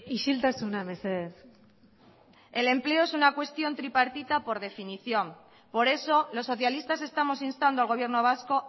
isiltasuna mesedez el empleo es una cuestión tripartita por definición por eso los socialistas estamos instando al gobierno vasco